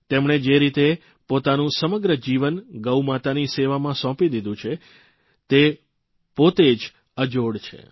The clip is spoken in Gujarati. તેમણે જે રીતે પોતાનું સમગ્ર જીવન ગૌ માતાની સેવામાં સોંપી દીધું છે તે પોતે જ અજોડ છે